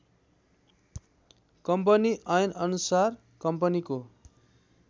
company ऐनअनुसार कम्पनीको